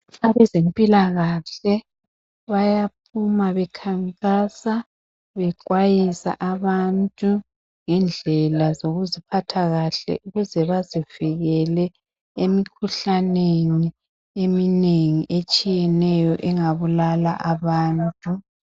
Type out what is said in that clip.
Abezempilakahle bayaphuma bekhankasa bexwayisa abantu ngendlela zokuziphatha kahle ukuze bazivikele emikhuhlaneni eminengi etshiyeneyo engabulala abantu.